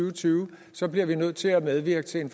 og tyve så bliver vi nødt til at medvirke til en